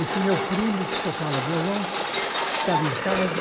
Esse meu primo, que tocava violão, estava em casa,